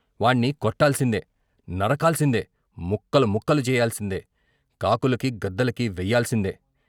వాణ్ణి కొట్టాల్సిందే, నరకాల్సిందే, ముక్కలు ముక్కలు చెయ్యాల్సిందే , కాకులకి , గద్దలకీ వెయ్యాల్సిందే?